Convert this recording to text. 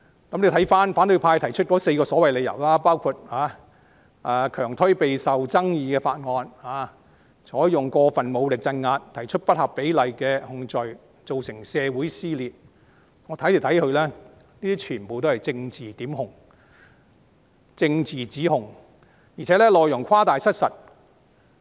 觀乎反對派提出的4個所謂理由，包括強推備受爭議的法案、採用過分武力鎮壓、提出不合比例的控罪、造成社會撕裂，不管我從哪個角度看，這些全部都是政治檢控和政治指控，而且內容誇大失實。